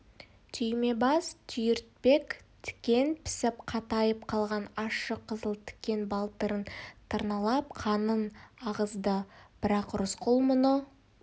түймебас түйіртпек тікен пісіп қатайып қалған ащы қызыл тікен балтырын тырналап қанын ағызды бірақ рысқұл мұны